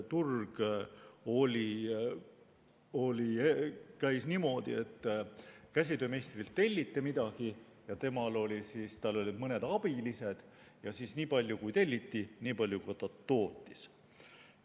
Turg toimis niimoodi, et käsitöömeistrilt telliti midagi, temal olid mõned abilised, ja nii palju, kui telliti, nii palju ta tootis.